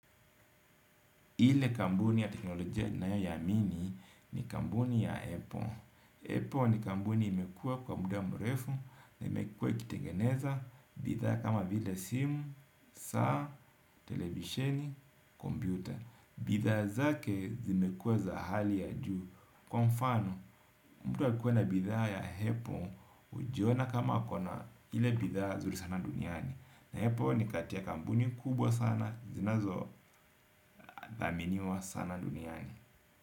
Ile kampuni ya teknolojia ninayoamini ni kampuni ya apple Apple ni kampuni imekua kwa muda mrefu na imekua ikitengeneza, bidhaa kama vile simu, saa, televisheni, kompyuta. Bidhaa zake zimekuwa za hali ya juu. Kwa mfano, mtu akikuwe na bidhaa ya Apple hujiona kama ako na ile bidhaa zuri sana duniani. Apple ni kati ya kampuni kubwa sana zinazo aminiwa sana duniani.